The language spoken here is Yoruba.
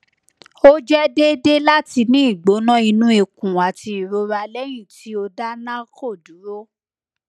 o jẹ deede lati ni igbona inu ikun ati irora lẹyin ti o da narco duro